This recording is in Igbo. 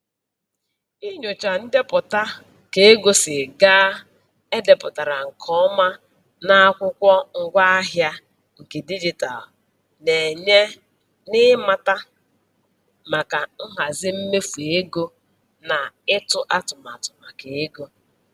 Inyocha ndepụta ka ego si gaa e depụtara nke ọma na akwụkwọ ngwaahịa nke dijitalụ na-enye n'ịmata maka nhazi mmefu ego na ịtụ atụmatụ maka ego.